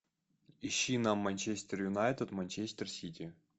ищи нам манчестер юнайтед манчестер сити